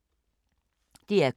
DR K